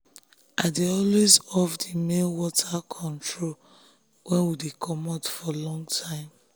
i dey always off the main water control when we dey comot for long time.